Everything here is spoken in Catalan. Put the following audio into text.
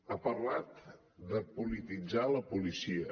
ha parlat de polititzar la policia